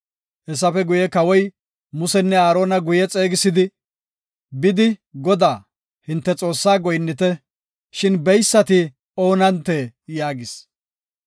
Kawoy Musenne Aarona guye xeegisidi, “Bidi Godaa, hinte Xoossa goynite, shin beysati oonantee?” yaagis.